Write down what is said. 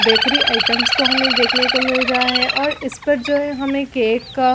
bakery items को हमें देखने को मिल रहा है और इस पर जो हमें केक का--